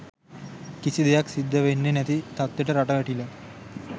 කිසි දෙයක් සිද්ද වෙන්නෙ නැති තත්වෙට රට වැටිලා